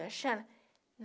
Sebastiana